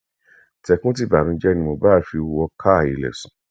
tẹkúntìbanújẹ ni mohbad fi wọ káa ilé sùn